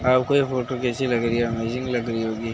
आपको ये फोटो कैसी लग रही है? अमेज़िंग लग रही होगी।